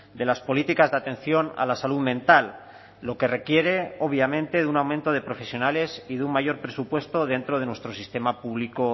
de las políticas de atención a la salud mental lo que requiere obviamente de un aumento de profesionales y de un mayor presupuesto dentro de nuestro sistema público